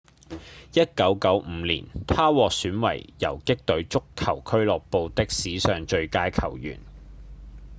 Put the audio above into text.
1995年他獲選為游擊隊足球俱樂部的史上最佳球員